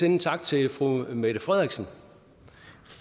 en tak til fru mette frederiksen